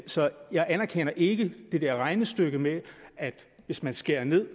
så jeg anerkender ikke det der regnestykke med at der hvis man skærer ned